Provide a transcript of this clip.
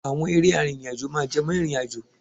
Àwọn eré arìnrìn-àjò máa ń jẹ mọ́ ìrìnàjò.